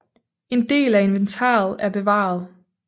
En del af inventaret er bevaret